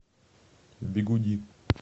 бигуди